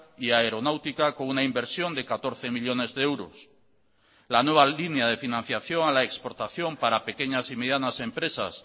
y aeronáutica con una inversión de catorce millónes de euros la nueva línea de financiación a la exportación para pequeñas y medianas empresas